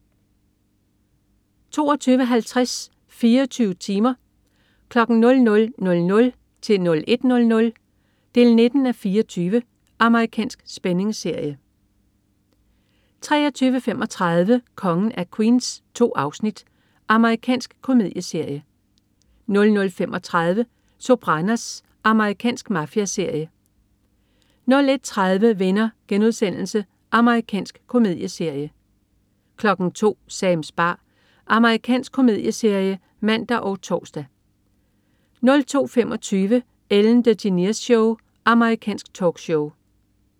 22.50 24 timer. 00:00-01:00. 19:24. Amerikansk spændingsserie 23.35 Kongen af Queens. 2 afsnit. Amerikansk komedieserie 00.35 Sopranos. Amerikansk mafiaserie 01.30 Venner.* Amerikansk komedieserie 02.00 Sams bar. Amerikansk komedieserie (man og tors) 02.25 Ellen DeGeneres Show. Amerikansk talkshow